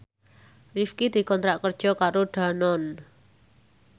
Rifqi dikontrak kerja karo Danone